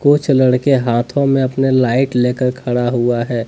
कुछ लड़के हाथों में अपने लाइट लेकर खड़ा हुआ है।